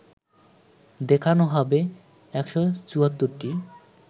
দেখানো হবে ১৭৪টি